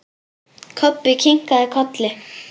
Kobbi kinkaði kolli.